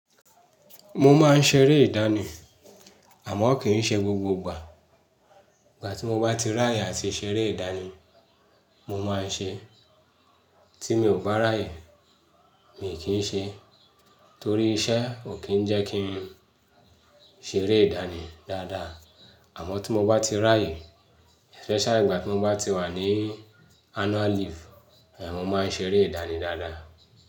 Mo máa ń ṣeré ìdánì, àmọ́ kì í ṣe gbogbo ìgbà. Ìgbà tí mo bá ti ráyè àti ṣeré ìdánì, mo máa ń ṣe. Tí mi ò bá ráyè, mi kì í ṣe. Torí iṣẹ́ ò kí ń jẹ́ kí n ṣeré ìdánì dáadáa. Àmọ́ tí mo bá ti ráyè, especially ìgbà tí mo bá ti wà ní annual leave, ẹ, mo máa ń ṣeré ìdánì dáadáa.